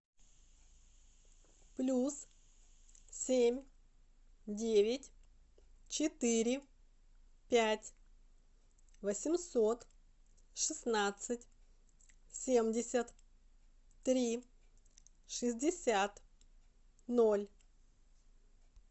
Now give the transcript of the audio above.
плюс семь девять четыре пять восемьсот шестнадцать семьдесят три шестьдесят ноль